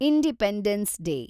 independence day